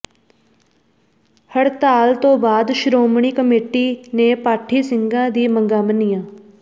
ਹੜਤਾਲ ਤੋਂ ਬਾਅਦ ਸ਼੍ਰੋਮਣੀ ਕਮੇਟੀ ਨੇ ਪਾਠੀ ਸਿੰਘਾਂ ਦੀ ਮੰਗਾਂ ਮੰਨੀਆਂ